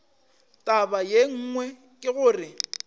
taba ye nngwe ke gore